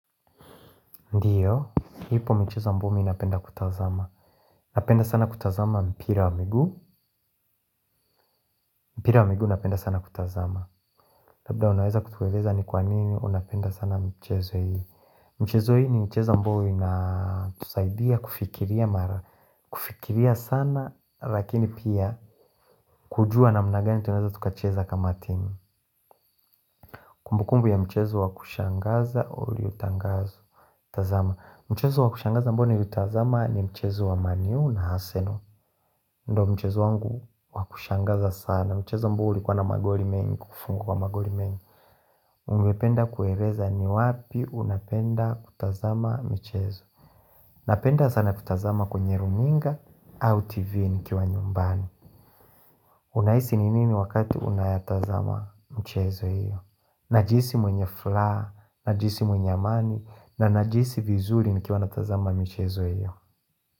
Ndiyo, ipo michezo ambayo mi napenda kutazama Napenda sana kutazama mpira wa miguu mpira wa miguu napenda sana kutazama Labda unaweza kutueleza ni kwa nini unapenda sana michezo hii Mchezo hii ni mchezo ambao inatusaidia kufikiria mara kufikiria sana lakini pia kujua na mna gani tunaweza tukacheza kama team Kumbukumbu ya mchezo wakushangaza uliotangazwa tazama, mchezo wakushangaza ambao ni liutazama ni mchezo wa man u na arsenal ndo mchezo wangu wakushangaza sana Mchezo ambao uli kuwa na magori mengi kufungwa magori mengi Ungependa kueleza ni wapi unapenda kutazama michezo Napenda sana kutazama kwenye runinga au tv nikiwa nyumbani Unahisi ni nini wakati unayatazama mchezo hiyo Najihisi mwenye furaha, najisi mwenye amani na najisi vizuri nikiwa natazama michezo hiyo.